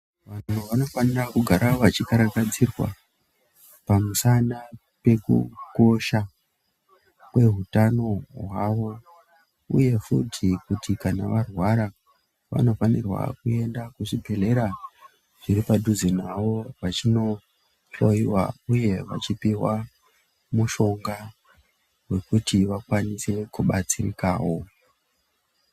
Vanthu vanofanira kugara vechikarakadzirwa pamushana pekukosha kwehutano hwavo uye futi kuti kana varwara vanofanirwa kuenda kuzvibhehlera zviri padhuze navo vachinohloyiwa uye vachiphwa mushonga wekuti vakwanise kubatsirikawo.